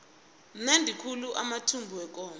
amnandi khulu amathumbu wekomo